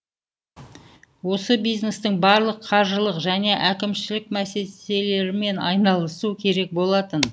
ол бизнестің барлық қаржылық және әкімшілік мәселелерімен айналысу керек болатын